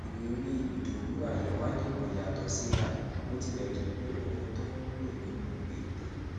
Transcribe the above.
ìrírí idowu ayanwale kò yàtọ síra bó tilẹ jẹ pé ohun tó ń lò nínú ètò